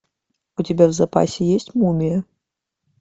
у тебя в запасе есть мумия